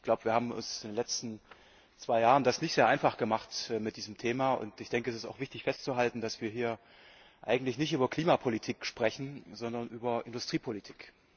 Ich glaube, wir haben es uns in den letzten zwei Jahren nicht sehr einfach gemacht mit diesem Thema, und ich denke, es ist auch wichtig festzuhalten, dass wir hier eigentlich nicht über Klimapolitik sprechen, sondern über Industriepolitik.